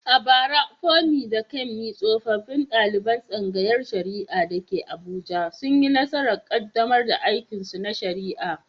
A bara, Funmi da Kunmi tsofaffin daliban tsangayar shari’a da ke Abuja, sun yi nasarar kaddamar da aikinsu na shari’a.